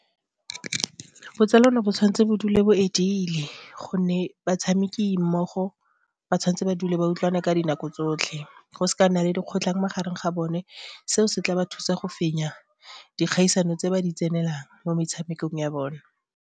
Botsalano bo tshwanetse ba dule bo e dile gonne batshameki mmogo ba tshwanetse ba dule ba utlwane ka dinako tsotlhe go se ka nna le dikgotlhang magareng ga bone, seo se tla ba thusa go fenya dikgaisano tse ba di tsenelelang mo metshamekong ya bone.